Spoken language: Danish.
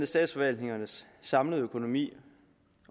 statsforvaltningernes samlede økonomi